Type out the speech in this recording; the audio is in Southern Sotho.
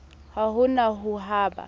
ha ho na ho ba